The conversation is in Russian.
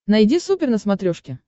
найди супер на смотрешке